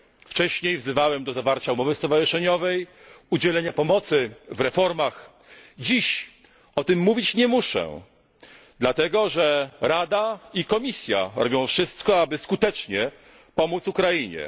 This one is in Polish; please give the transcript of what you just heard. Wcześniej wzywałem do zawarcia umowy stowarzyszeniowej, udzielenia pomocy w reformach, dziś o tym mówić nie muszę, dlatego że Rada i Komisja robią wszystko, aby skutecznie pomóc Ukrainie.